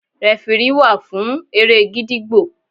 Rẹfirí wà fún eré gídígbò.